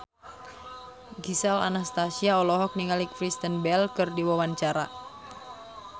Gisel Anastasia olohok ningali Kristen Bell keur diwawancara